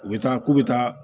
U bɛ taa k'u bɛ taa